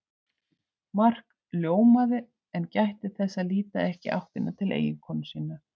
Mark ljómaði en gætti þess að líta ekki í áttina til eiginkonu sinnar.